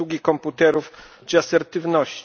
obsługi komputerów czy asertywności.